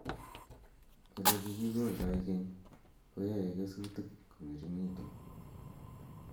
Ole kikioldoi keny ko yae kesutik ko ngeringitu